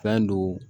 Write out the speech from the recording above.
Fɛn don